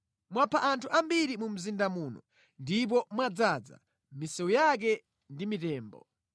Mwapha anthu ambiri mu mzinda muno ndipo mwadzaza misewu yake ndi mitembo.